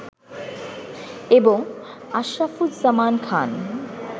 এবং আশরাফুজ্জামান খান